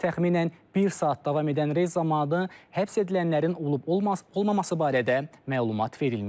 Təxminən bir saat davam edən reyd zamanı həbs edilənlərin olub-olmaması barədə məlumat verilməyib.